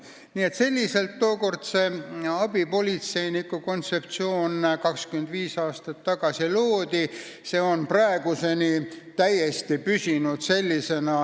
Nii et selliselt tookord, 25 aastat tagasi, see abipolitseiniku kontseptsioon loodi ja see on praeguseni sellisena püsinud.